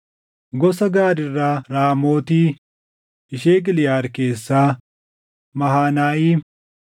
Gosa Gaad irraa Raamooti ishee Giliʼaad keessaa, Mahanayiim,